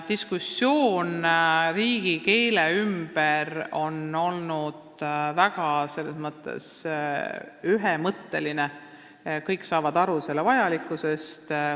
Diskussioon riigikeele ümber on olnud väga ühemõtteline, et kõik saavad aru selle vajalikkusest.